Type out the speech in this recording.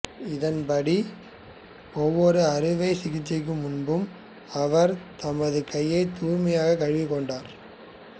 இதன்படி ஒவ்வொரு அறுவை சிகிச்சைக்கு முன்பும் அவர் தமது கைகளைத் தூய்மையாகக் கழுவிக்கொண்டார்